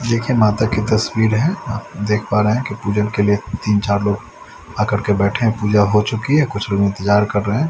देखिये माता की तस्वीर है आप देख पा रहे है कि पूजन के लिए तीन चार लोग आकर के बैठे है पूजा हो चुकी है कुछ लोग इंतजार कर रहे है।